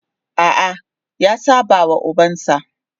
A'a, ya saba wa ubansa.